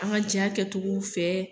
An ka ja kɛ cogow fɛ.